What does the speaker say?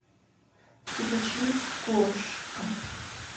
включить кошка